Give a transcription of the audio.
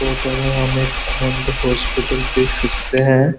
Photo में हम एक अनंद हॉस्पिटल देख सकते हैं।